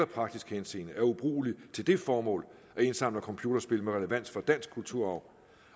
praktisk henseende er ubrugelige til det formål at indsamle computerspil med relevans for dansk kulturarv